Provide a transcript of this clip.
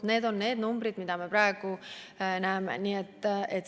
Need on need numbrid, mida me praegu näeme.